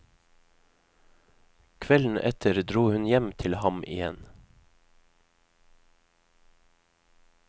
Kvelden etter dro hun hjem til ham igjen.